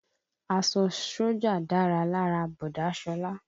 Aṣọ sójà dára lára bọ̀dá Sọlá